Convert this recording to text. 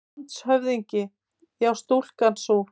LANDSHÖFÐINGI: Já, stúlkan sú!